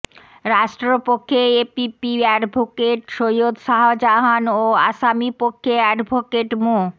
রাষ্ট্রপক্ষে APP advocate Syed Shahjahan ও আসামিপক্ষে অ্যাডভোকেট মো